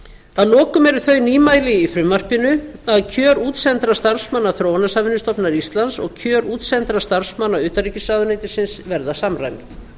að lokum eru þau nýmæli í frumvarpinu að kjör útsendra starfsmanna þróunarsamvinnustofnunar íslands og kjör útsendra starfsmanna utanríkisráðuneytisins verða samræmd